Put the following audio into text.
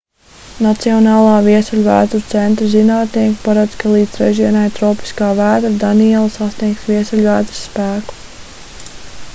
nacionālā viesuļvētru centra zinātnieki paredz ka līdz trešdienai tropiskā vētra daniela sasniegs viesuļvētras spēku